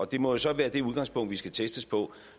det må jo så være det udgangspunkt vi skal testes på